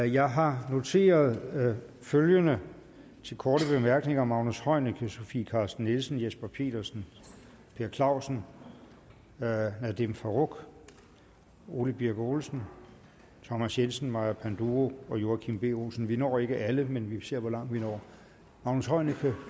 jeg har noteret følgende til korte bemærkninger magnus heunicke sofie carsten nielsen jesper petersen per clausen nadeem farooq ole birk olesen thomas jensen maja panduro og joachim b olsen vi når ikke alle men vi ser hvor langt vi når magnus heunicke